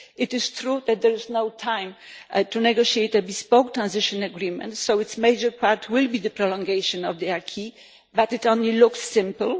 It is true that there is no time to negotiate a bespoke transition agreement, so its major part will be the prolongation of the acquis, but it only looks simple.